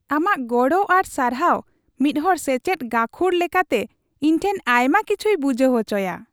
ᱟᱢᱟᱜ ᱜᱚᱲᱚ ᱟᱨ ᱥᱟᱨᱦᱟᱣ ᱢᱤᱫᱦᱚᱲ ᱥᱮᱪᱮᱫ ᱜᱟᱹᱠᱷᱲ ᱞᱮᱠᱟᱛᱮ ᱤᱧ ᱴᱷᱮᱱ ᱟᱭᱢᱟ ᱠᱤᱪᱷᱭ ᱵᱩᱡᱷᱟᱹᱣ ᱚᱪᱚᱭᱟ ᱾